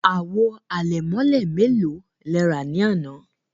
Àwò àlẹ̀mọ̀lẹ̀ mẹ́lò lè rà ní àná?